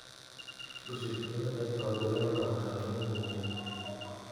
Ushirikiano kati ya wakulima na wataalamu ni muhimu.